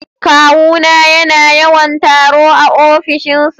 Kawuna yana yawan taro a ofishinsa